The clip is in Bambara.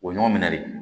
O ɲɔgɔn minɛ de